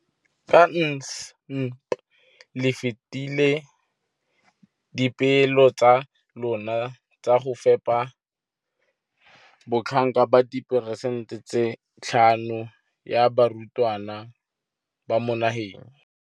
Ka NSNP le fetile dipeelo tsa lona tsa go fepa masome a supa le botlhano a diperesente ya barutwana ba mo nageng.